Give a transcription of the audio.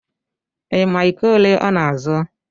Ị ma iko ole ọ na-azụ